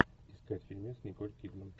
искать фильмец с николь кидман